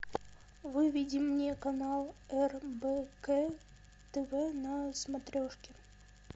выведи мне канал рбк тв на смотрешке